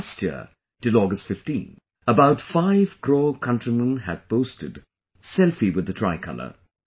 Last year till August 15, about 5 crore countrymen had posted Selfiewith the tricolor